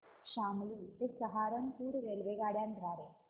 शामली ते सहारनपुर रेल्वेगाड्यां द्वारे